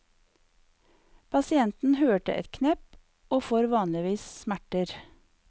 Pasienten hører et knepp og får vanligvis smerter.